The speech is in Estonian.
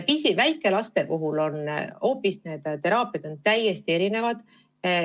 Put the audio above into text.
Tõsi, väikelaste puhul on need teraapiad täiesti erinevad.